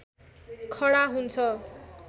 खडा हुन्छ